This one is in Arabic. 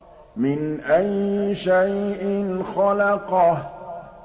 مِنْ أَيِّ شَيْءٍ خَلَقَهُ